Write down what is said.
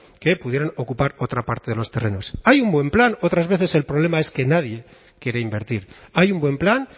que pudieran ocupar otra parte de los terrenos hay un buen plan otras veces el problema es que nadie quiere invertir hay un buen plan